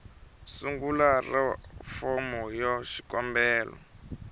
sungula ra fomo ya xikombelo